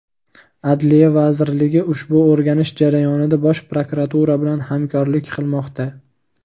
Adliya vazirligi ushbu o‘rganish jarayonida Bosh prokuratura bilan hamkorlik qilmoqda.